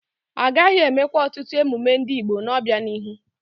Agaghị eme kwa ọtụtụ emume ndị Igbo n'obianihu.